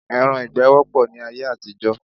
Ẹran ìgbẹ́ wọ́pọ̀ ní ayé àtijọ́